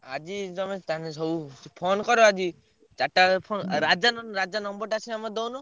ଆଜି ତମେ ତାଙ୍କୁ ସବୁ phone କର ଆଜି, ଚାରିଟା ବେଳେ phone ରାଜା ନହେଲେ ରାଜା number ଟା ସିନା ମତେ ଦଉନ।